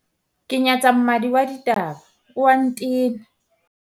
ke nyatsa mmadi wa ditaba o a ntena